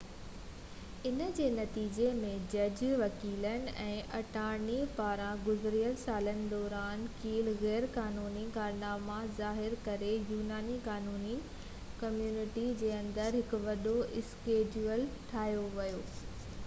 ان جي نتيجي ۾، جج، وڪيلن، ۽ اٽارني پاران گذريل سالن دوران ڪيل غيرقانوني ڪارناما ظاهر ڪري يوناني قانوني ڪميونٽي جي اندر هڪ وڏو اسڪينڊل ٺاهيو ويو